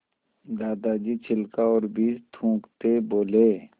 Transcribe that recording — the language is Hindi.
दादाजी छिलका और बीज थूकते बोले